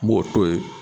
N b'o to ye